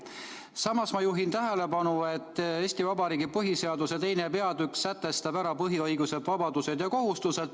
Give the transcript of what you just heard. Samas ma juhin tähelepanu, et Eesti Vabariigi põhiseaduse II. peatükk sätestab ära põhiõigused, vabadused ja kohustused.